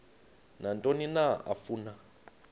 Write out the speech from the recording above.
nantoni na afuna